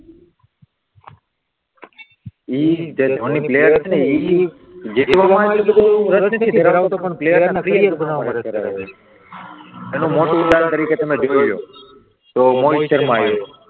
એ, જે ધોની પ્લેયર છે ને એ જેટલો એટલો એનું મોટું ઉદાહરણ તરીકે તમે જોઈ લો, તો